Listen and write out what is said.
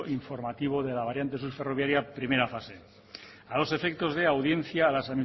informativo de la variante ferroviaria primera fase a los efectos de audiencia a las